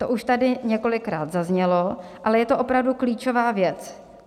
To už tady několikrát zaznělo, ale je to opravdu klíčová věc.